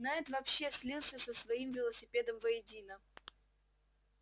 найд вообще слился со своим велосипедом воедино